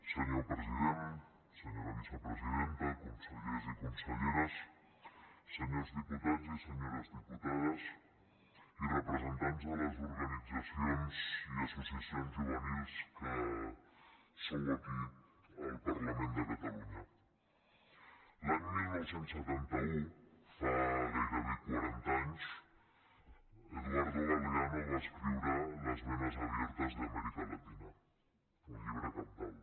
senyor president senyora vicepresidenta consellers i conselleres senyors diputats i senyores diputades i representants de les organitzacions i associacions juvenils que sou aquí al parlament de catalunya l’any dinou setanta u fa gairebé quaranta anys eduardo galeano va escriure las venas abiertas de américa latina un llibre cabdal